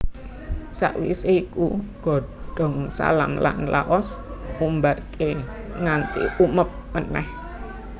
Sakwisé iku godhong salam lan laos Umbarké nganti umeb meneh